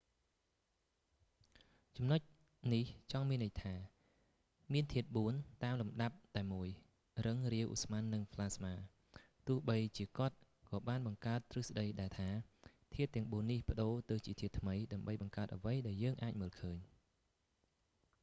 ចំណុចនេះចង់មានន័យថា មានធាតុបួន តាមលំដាប់តែមួយ៖ រឹង រាវ ឧស្ម័ន និងផ្លាស្មា ទោះបីជាគាត់ក៏បានបង្កើតទ្រឹស្តីដែរថា ធាតុទាំងបួននេះប្តូរទៅជាធាតុថ្មី ដើម្បីបង្កើតអ្វីដែលយើងអាចមើលឃើញ។